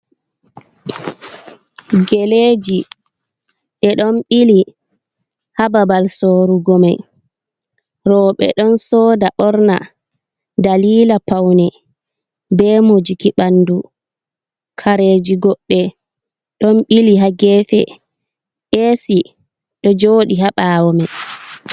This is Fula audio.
Gele ji ɗe ɗon ɓili haa babal sorugo mai, rooɓe ɗon soda ɓorna dalila paune be mojuki ɓanɗu, kareji goɗɗe ɗon ɓili haa geefe nda ac ɗo jooɗii haa ɓaawo mai.